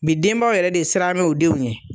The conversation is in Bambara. Bi denbaw yɛrɛ de siranbɛ u denw yɛn